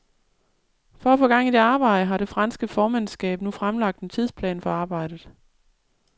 For at få gang i det arbejde, har det franske formandskab nu fremlagt en tidsplan for arbejdet.